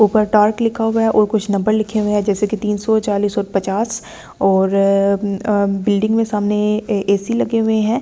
ऊपर टार्क लिखा हुआ है और कुछ नंबर लिखे हुए हैं जैसे कि तीनसों चालिश और पचास और बिल्डिंग में सामने ए_सी लगे हुए हैं।